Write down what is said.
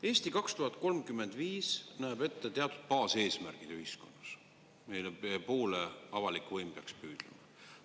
"Eesti 2035" näeb ette teatud baaseesmärgid ühiskonnas, mille poole avalik võim peaks püüdlema.